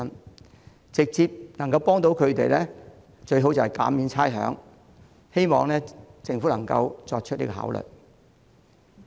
能直接協助他們的最佳方法是減免差餉，希望政府能夠予以考慮。